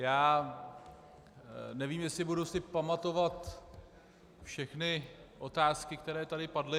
Já nevím, jestli si budu pamatovat všechny otázky, které tady padly.